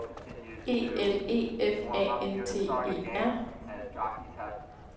E L E F A N T E R